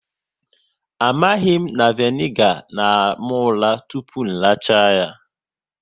Amaghị na vinegar na àmà ụra tụpụ racha ya